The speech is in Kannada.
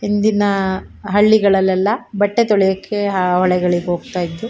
ಹಿಂದಿನ ಹಳ್ಳಿಗಳೆಲ್ಲಾ ಬಟ್ಟೆ ತೊಳೆಯಕ್ಕೆ ಹೊಳೆಗಳಿಗೆ ಹೋಗತ್ತಾ ಇದ್ದು --